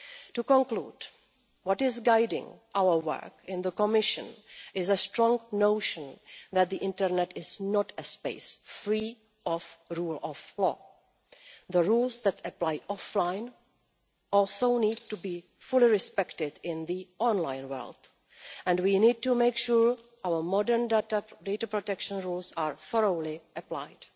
To conclude, what is guiding our work in the Commission is a strong notion that the internet is not a space free of the rule of law. The rules that apply offline also need to be fully respected in the online world, and we need to make sure our modern data protection laws are thoroughly applied.